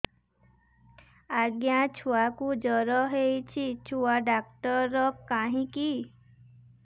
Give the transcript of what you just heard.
ଆଜ୍ଞା ଛୁଆକୁ ଜର ହେଇଚି ଛୁଆ ଡାକ୍ତର କାହିଁ କି